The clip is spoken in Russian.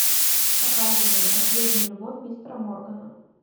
показывай последняя любовь мистера моргана